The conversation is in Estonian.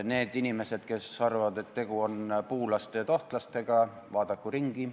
Need inimesed, kes arvavad, et tegu on puulaste ja tohtlastega, vaadaku ringi.